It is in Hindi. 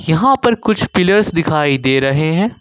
यहां पर कुछ पिलर्स दिखाई दे रहे हैं।